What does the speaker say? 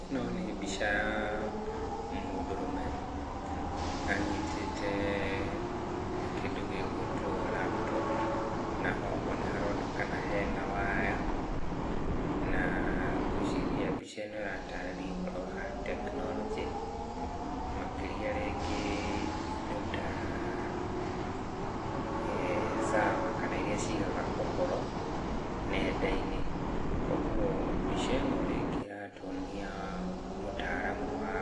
Ĩno nĩ mbica ya mũndũrũme anyitĩte kĩndũ gĩ gwĩtwo laptop, na oho nĩ haronekana hena waya, na ngwĩciria mbica ĩno ĩratarĩria ũhoro wa tekinoronjĩ, makĩria rĩngĩ indo ta server kana iria cigaga ũhoro nenda-inĩ. Koguo mbica ĩno rĩngĩ ĩratuonia mũtaaramu wa,